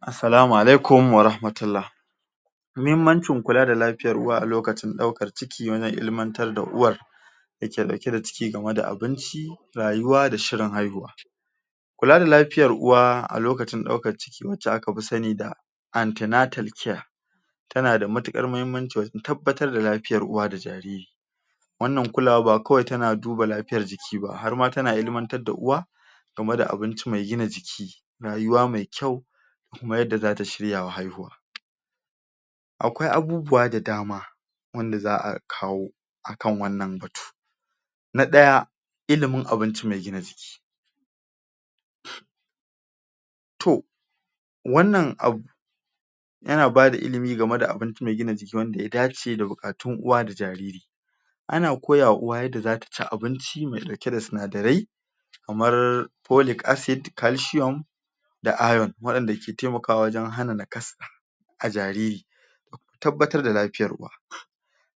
Asalama alaikum wa ramatullah Muhimmancin kula da lafiya uwa a lokacin daukar ciki wajen ilimantar da uwar dauke-dauke da ciki gama da abinci, rayuwa da shirin haihuwa. Kula da lafiyar uwa a lokacin dauka ciki waca a ka fi sani da antenatal care ta na da matukar mahimmanci wajen tabatar da lafiyar uwa da jariri Wannan kulawa ba wai kawai ta na duba lafiyar jiki ba, har ma ta na ilimantar da uwa game da abinci mai gina jiki, rayuwa mai kyau kuma yadda za ta shirya wa haihuwa Akwai abubuwa da dama wanda za'a kawo a kan wannan batu, na daya, ilimin abinci mai gina jiki. Toh wannan abu ya na ba da ilimi game da abinci mai gina jiki da wanda ya dace, da bukatun uwa da jariri. A na koyawa uwa yadda za ta ci abunci mai dauke da sunadarei kamar folic acid, kalcium da iron. Wadanda ke taimakawa wajen hana na kasa a jariri tabbatar da lafiyar uwa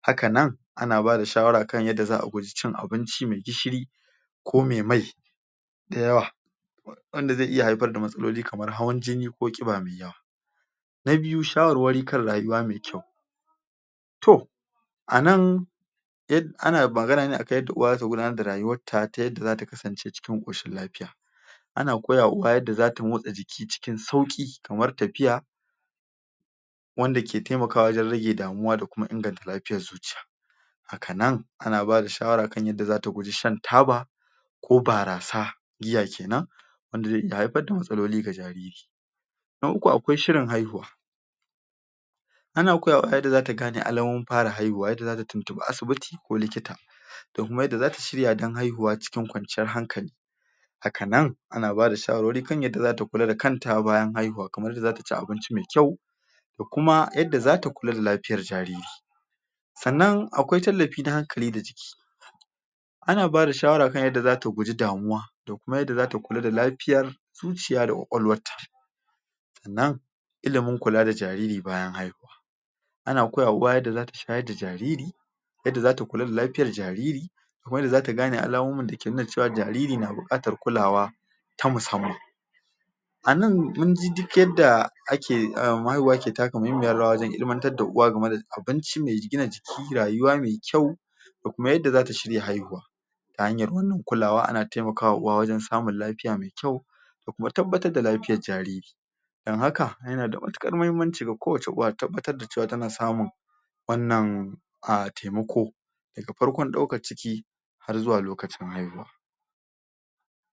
Haka nan, a na bada shawara a kan yadda za'a guji cin abincimai gishiri ko me mai dayawa wanda ze iya haifar da matsaloli kamar hawan jini ko kia mai yawa. Na biyu shawarwari kan rayuwa mai kyau, toh a nan a na magana ne, a gan yadda uwa ta gudanar da rayuwar ta, ta yadda za ta kasance cikin koshin lafiya. A na koya wa uwa yadda za ta motse jiki cikin sauki kamar tafiya, wanda ke taimakawa wajen rage damuwa da kuma inganta lafiyar zuciya. Haka nan, a na bada shawara a kan yadda za ta guji shan taba, ko barasa, giya kenan wanda ze iya haifar da matsaloli ga jariri. Na uku akwai shirin haihuwa a na koyawa a yadda za ta gane alamomin fara haihuwa, za ta tuntunbi asibiti ko likita, da kuma yadda za ta shirya dan haihuwa cikin kwanciyar hankali haka nan, a na bada shawarwari kan yadda za ta kula da kanta bayan haihuwa kamar yadda za ta ci abinci me kyau da kuma yadda za ta kula da lafiyar jariri. Tsannan akwai talafi na hankali da jiki a na ba da shawara kan yadda za ta guji damuwa da kuma yadda za ta kula da lafiyar zuciya da kwakwalwar ta. Tsannan ilimin kula da jariri bayan haihuwa. A na koya wa uwa yadda za ta shayar da jariri yadda za ta kula da lafiyar jariri kuma yadda za ta gane alumumura da ke nuna cewa jariri na bukatar kulawa ta musamman A nan mun ji duk yadda a ke, umm mahaihuwa ke taka mahimmiyar rawa wajen ilimantar da uwa game da abinci me rigina jiki, rayuwa me kyau da kuma yadda za ta shirya haihuwa. Ta hanyar wannan kulawa a na taimakawa uwa wajen samun lafiya mai kyau da kuma tabbatar da lafiyar jariri dan haka, ya na da matukar mahimmanci ga ko wace uwa tabbatar da cewa ta na samun. Wannan, a taimako, da ga farkon dauka ciki har zuwa lokacin haihuwa.